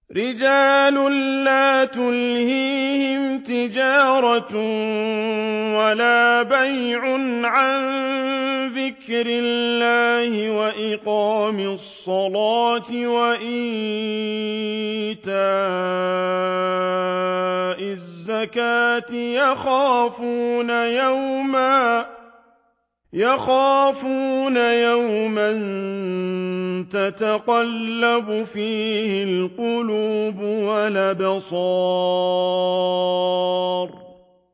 رِجَالٌ لَّا تُلْهِيهِمْ تِجَارَةٌ وَلَا بَيْعٌ عَن ذِكْرِ اللَّهِ وَإِقَامِ الصَّلَاةِ وَإِيتَاءِ الزَّكَاةِ ۙ يَخَافُونَ يَوْمًا تَتَقَلَّبُ فِيهِ الْقُلُوبُ وَالْأَبْصَارُ